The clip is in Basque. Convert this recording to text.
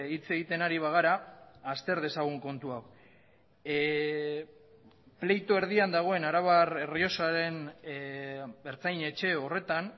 hitz egiten ari bagara azter dezagun kontu hau pleito erdian dagoen arabar errioxaren ertzain etxe horretan